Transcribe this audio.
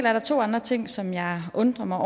er der to andre ting som jeg undrer mig